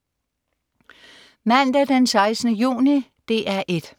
Mandag den 16. juni - DR 1: